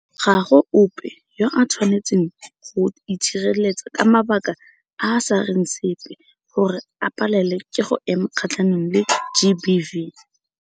Ga go ope yo a tshwanetseng go itshireletsa ka mabaka a a sa reng sepe gore a palelwe ke go ema kgatlhanong le GBV.